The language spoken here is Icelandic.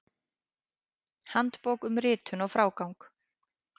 Handbók um ritun og frágang.